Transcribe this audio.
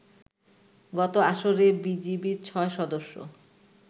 গত আসরে বিজিবির ছয় সদস্য